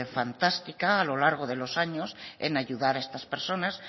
fantástica a lo largo de los años en ayudar a estas personas